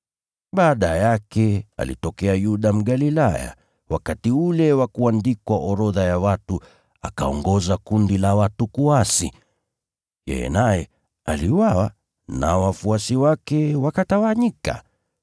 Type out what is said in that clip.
Baada yake, alitokea Yuda Mgalilaya wakati wa kuorodhesha watu, naye akaongoza kundi la watu kuasi. Yeye pia aliuawa, nao wafuasi wake wakatawanyika.